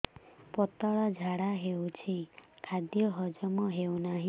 ପତଳା ଝାଡା ହେଉଛି ଖାଦ୍ୟ ହଜମ ହେଉନାହିଁ